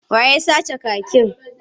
Wa ya sace kakin?